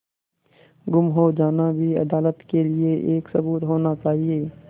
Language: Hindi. गुम हो जाना भी अदालत के लिये एक सबूत होना चाहिए